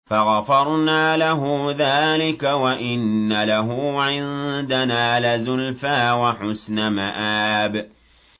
فَغَفَرْنَا لَهُ ذَٰلِكَ ۖ وَإِنَّ لَهُ عِندَنَا لَزُلْفَىٰ وَحُسْنَ مَآبٍ